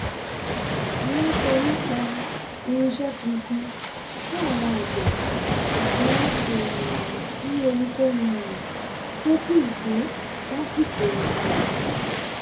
wọ́n sọ nípa irinṣẹ́ tuntun fún àwọn agbe ṣùgbọ́n kò um sí ohunkóhun um tó ti dé lásìkò ọ̀gbìn yìí